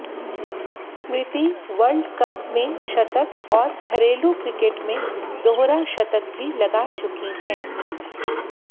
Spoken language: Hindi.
स्मृति वर्ल्डकप में शतक और घरेलू क्रिकेट में दोहरा शतक भी लगा चुकी हैं